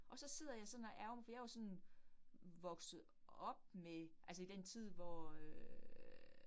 Og så sidder jeg sådan og ærgrer mig fordi jeg jo sådan vokset op med altså i den tid hvor øh